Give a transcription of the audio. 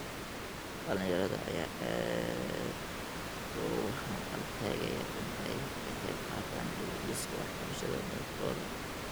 Dhalinyarada ayaa aad uguhanqal taagaya in ay ka qeybqaataan dib u dhiska waxbarashada dalkooda.